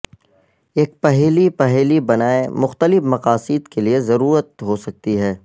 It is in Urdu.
ایک پہیلی پہیلی بنائیں مختلف مقاصد کے لئے ضرورت ہو سکتی ہے